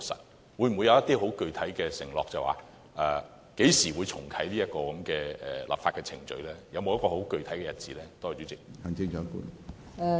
政府會否作出具體的承諾，指明何時才重啟這項立法程序，有否具體的日子呢？